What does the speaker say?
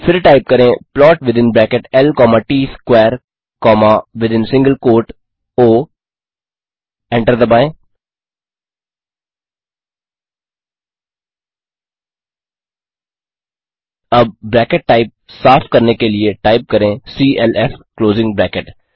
फिर टाइप करें plot within bracket l comma T S square comma within single quote O enter दबाएँ अब bracket type साफ़ करने के लिए टाइप करें सीएलएफ क्लोज़िंग ब्रैकेट